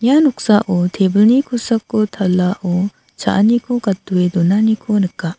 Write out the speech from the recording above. ia noksao tebilni kosako talao cha·aniko gatdoe donaniko nika.